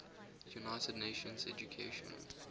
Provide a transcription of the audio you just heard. united nations educational